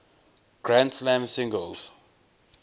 grand slam singles